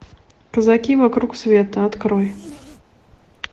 казаки вокруг света открой